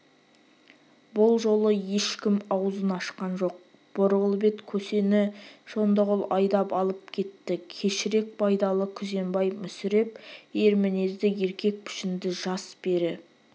бұл жолы ешкім аузын ашқан жоқ борғыл бет көсені шондығұл айдап алып кетті кешірек байдалы күзембай мүсіреп ер мінезді еркек пішінді жас пері